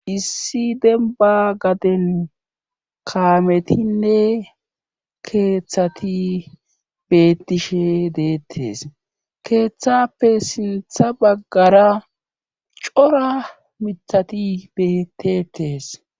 issi demba gaden kaametinne keeththati bettishe deettes keeththappe sintha baggara cora mithati bettetes